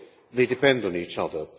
they depend on each other.